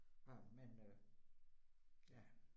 Nåh, men øh ja